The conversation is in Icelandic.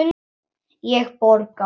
Ég borga.